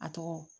A tɔgɔ